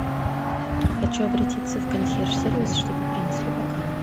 хочу обратиться в консьерж сервис чтобы принесли бокалы